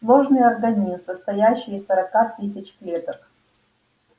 сложный организм состоящий из сорока тысяч клеток